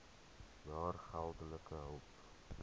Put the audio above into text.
jaar geldelike hulp